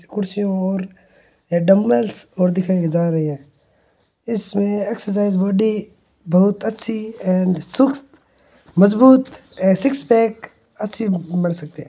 कुर्सिया और डम्बल और दिखाई जा रहे है इसमें एक्सरसाइज बॉडी बहुत अच्छी एंड सुक्त मजबूत सिक्स पेग अच्छे बन सकते है।